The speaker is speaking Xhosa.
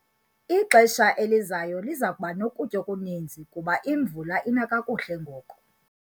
Ixesha elizayo liza kuba nokutya okuninzi kuba imvula ina kakuhle ngoku.